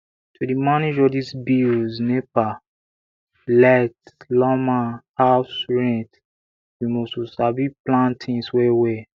to dey manage all dis bills nepa light lawma house rent you must to sabi plan tins wellwell